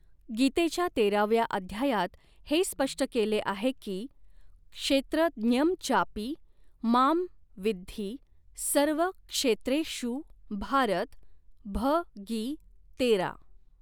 गीतेच्या तेराव्या अध्यायात हे स्पष्ट केले आहे की क्षेत्र ज्ञं चापि मां विद्धि सर्व क्षेत्रेषु भारत भ गी तेरा.